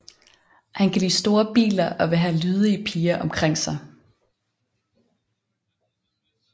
Han kan lide store biler og vil have lydige piger omkring sig